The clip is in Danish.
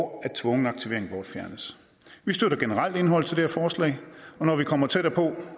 og at tvungen aktivering bortfjernes vi støtter generelt indholdet her forslag og når vi kommer tættere på